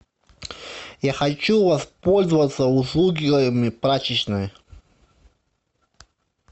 я хочу воспользоваться услугами прачечной